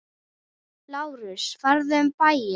LÁRUS: Farðu um bæinn!